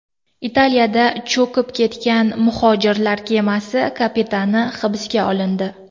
Italiyada cho‘kib ketgan muhojirlar kemasi kapitani hibsga olindi.